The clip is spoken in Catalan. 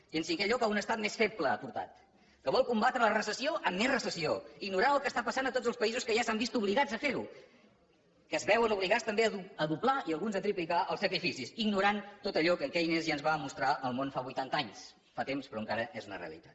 i en cinquè lloc a un estat més feble ha portat que vol combatre la recessió amb més recessió ignorant el que està passant a tots els països que ja s’han vist obligats a fer ho que es veuen obligats també a doblar i alguns a triplicar els sacrificis ignorant tot allò que en keynes ja ens va mostrar al món fa vuitanta anys fa temps però encara és una realitat